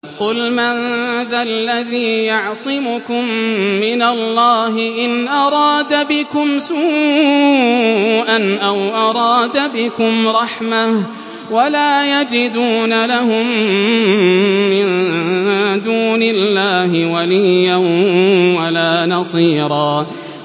قُلْ مَن ذَا الَّذِي يَعْصِمُكُم مِّنَ اللَّهِ إِنْ أَرَادَ بِكُمْ سُوءًا أَوْ أَرَادَ بِكُمْ رَحْمَةً ۚ وَلَا يَجِدُونَ لَهُم مِّن دُونِ اللَّهِ وَلِيًّا وَلَا نَصِيرًا